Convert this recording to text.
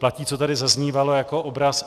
Platí, co tady zaznívalo jako obraz.